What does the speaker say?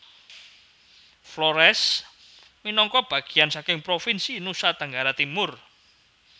Flores minangka bageyan saking provinsi Nusa Tenggara Timur